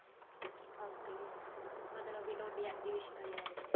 ok ਜੀ ਮਤਲਬ ਕੀ ਤੁਹਾਡੀ exhibition ਵੀ ਲੱਗਦੀਆਂ